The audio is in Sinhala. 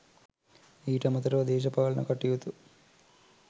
ඊට අමතරව දේශපාලන කටයුතු